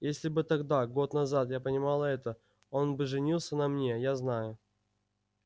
если бы тогда год назад я понимала это он бы женился на мне я знаю